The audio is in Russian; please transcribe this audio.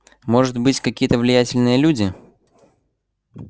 может быть какие-то влиятельные люди